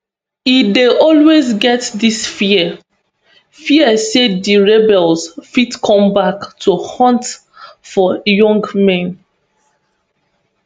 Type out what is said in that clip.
e dey always get dis fear fear say di rebels fit come back to hunt for young men